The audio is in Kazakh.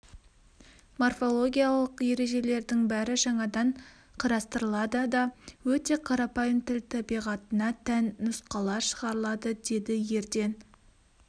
морфологиялық ережелердің бәрі жаңадан қарастырылады да өте қарапайым тіл табиғатына тән нұсқалар шығарылады деді ерден